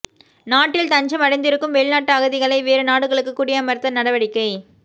நாட்டில் தஞ்சம் அடைந்திருக்கும் வெளிநாட்டு அகதிகளை வேறு நாடுகளுக்கு குடியமர்த்த நடவடிக்கை